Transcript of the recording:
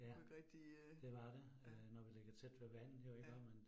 Kunne ikke rigtig øh. Ja. ja